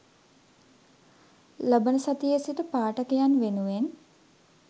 ලබන සතියේ සිට පාඨකයන් වෙනුවෙන්